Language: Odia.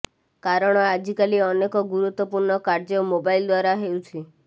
କାରଣ ଆଜିକାଲି ଅନେକ ଗୁରୁତ୍ୱପୂର୍ଣ୍ଣ କାର୍ଯ୍ୟ ମୋବାଇଲ୍ ଦ୍ୱାରା ହେଉଛି